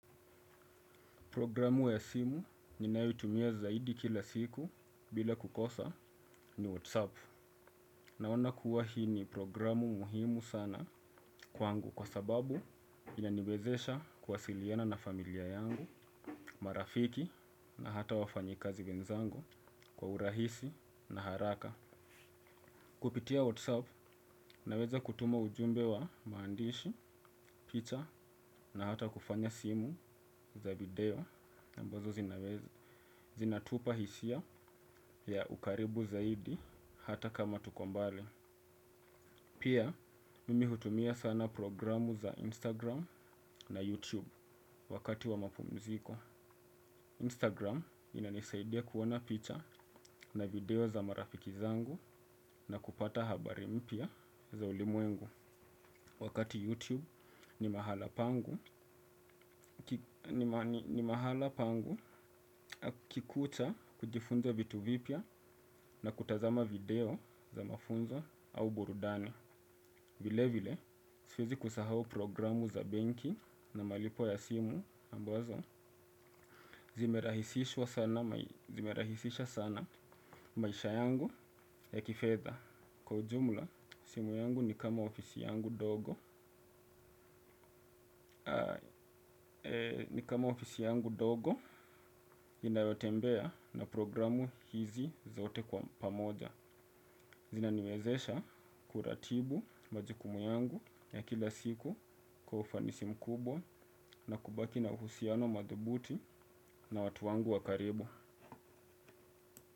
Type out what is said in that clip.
Programu ya simu ninayoitumia zaidi kila siku bila kukosa ni WhatsApp. Naona kuwa hii ni programu muhimu sana kwangu kwa sababu inaniwezesha kuwasiliana na familia yangu marafiki na hata wafanyikazi wenzangu kwa urahisi na haraka. Kupitia WhatsApp naweza kutuma ujumbe wa maandishi, picha na hata kufanya simu za video ambazo zinaweza zinatupa hisia ya ukaribu zaidi hata kama tuko mbali. Pia mimi hutumia sana programu za Instagram na YouTube wakati wa mapumziko. Instagram ina nisaidia kuona picha na video za marafiki zangu na kupata habari mpya za ulimwengu. Wakati YouTube ni mahala pangu kukikucha kujifunza vitu vipya na kutazama video za mafunzo au burudani. Vile vile siwezi kusahau programu za benki na malipo ya simu ambazo, zimerahisisha sana maisha yangu ya kifedha. Kwa ujumla simu yangu ni kama ofisi yangu ndogo, ni kama ofisi yangu ndogo inayotembea na programu hizi zote kwa pamoja. Zina niwezesha kuratibu majukumu yangu ya kila siku kwa ufanisi mkubwa na kubaki na uhusiano madhubuti na watu wangu wakaribu.